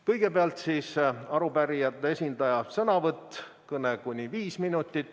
Kõigepealt on arupärijate esindaja sõnavõtt, kõne puldist kuni 5 minutit.